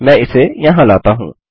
मैं इसे यहाँ लाता हूँ